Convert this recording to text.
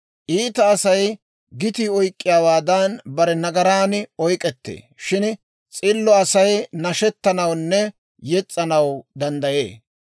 Iita Asay gitii oyk'k'iyaawaadan, bare nagaran oyk'ettee; shin s'illo Asay nashettanawunne yes's'anaw danddayee.